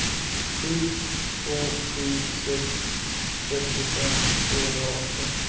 sju två sju sex trettiofem tvåhundraarton